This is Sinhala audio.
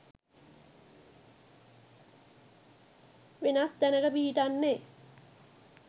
වෙනස් තැනක පිහිටන්නෙ.